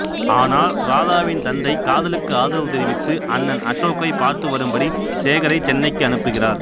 ஆனால் ராதாவின் தந்தை காதலுக்கு ஆதரவு தெரிவித்து அண்ணன் அசோக்கை பார்த்துவரும்படி சேகரை சென்னைக்கு அனுப்புகிறார்